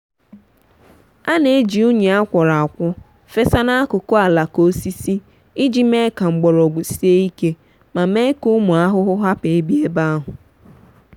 ana eji unyi akwọrọakwọ fesa n'akụkụ alaka osisi iji mee ka mgbọrọgwụ sie ike ma mee ka ụmụ ahụhụ hapụ ibia ebe ahu.